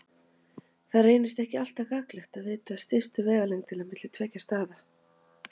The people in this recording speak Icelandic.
Það reynist ekki alltaf gagnlegt að vita stystu vegalengd milli tveggja staða.